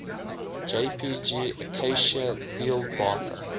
jpg acacia dealbata